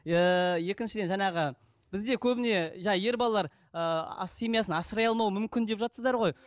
иә екіншіден жаңағы бізде көбіне жаңа ер балалар ыыы семьясын асырай алмау мүмкін деп жатырсыздар ғой